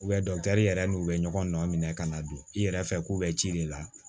yɛrɛ n'u bɛ ɲɔgɔn nɔ minɛ ka na don i yɛrɛ fɛ k'u bɛ ci de la